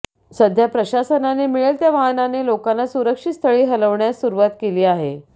सध्या प्रशासनाने मिळेल त्या वाहनाने लोकांना सुरक्षित स्थळी हलवण्यास सुरूवात केली आहे